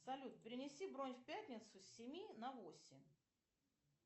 салют перенеси бронь в пятницу с семи на восемь